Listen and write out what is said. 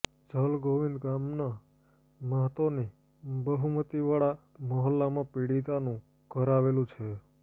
જલગોવિંદ ગામના મહતોની બહુમતિવાળા મહોલ્લામાં પીડિતાનું ઘર આવેલું છે